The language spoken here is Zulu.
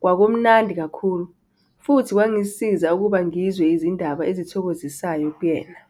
kwakumnandi kakhulu futhi kwangisiza ukuba ngizwe izindaba ezithokozisayo kuyena.